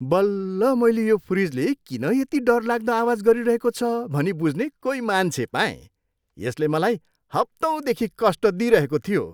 बल्ल मैले यो फ्रिजले किन यति डरलाग्दो आवाज गरिरहेको छ भनी बुझ्ने कोही मान्छे पाएँ! यसले मलाई हप्तौँदेखि कष्ट दिइरहेको थियो!